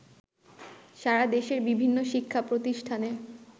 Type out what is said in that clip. সারাদেশের বিভিন্ন শিক্ষা প্রতিষ্ঠানে